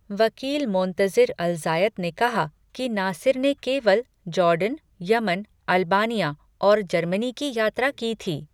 वकील Montazir Alzayat ने कहा कि नासिर ने केवल जॉर्डन, यमन, अल्बानिया और जर्मनी की यात्रा की थी।